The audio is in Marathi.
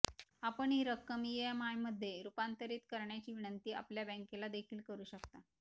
आपण ही रक्कम ईएमआयमध्ये रूपांतरित करण्याची विनंती आपल्या बँकेलादेखील करू शकता